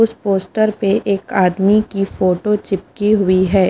उस पोस्टर पे एक आदमी की फोटो चिपकी हुई है।